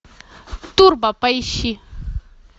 турбо поищи